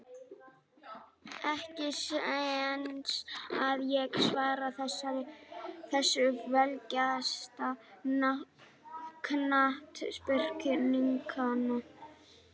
Ekki séns að ég svari þessu Fallegasta knattspyrnukonan?